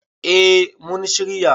eh mun shirya